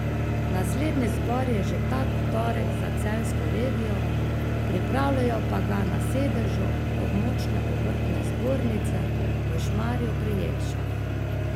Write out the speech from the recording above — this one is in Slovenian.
Naslednji zbor je že ta torek za Celjsko regijo, pripravljajo pa ga na sedežu območne obrtne zbornice v Šmarju pri Jelšah.